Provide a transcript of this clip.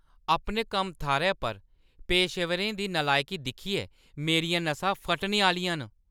अपने कम्म-थाह्‌रै पर पेशेवरें दी नलायकी दिक्खियै मेरियां नसां फटने आह्‌लियां न।